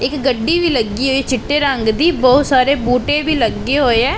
ਇੱਕ ਗੱਡੀ ਵੀ ਲੱਗੀ ਹੋਈ ਚਿੱਟੇ ਰੰਗ ਦੀ ਬਹੁਤ ਸਾਰੇ ਬੂਟੇ ਵੀ ਲੱਗੇ ਹੋਏ ਐ।